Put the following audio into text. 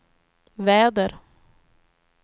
väder